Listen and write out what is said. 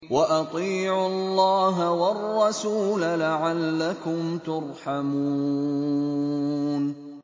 وَأَطِيعُوا اللَّهَ وَالرَّسُولَ لَعَلَّكُمْ تُرْحَمُونَ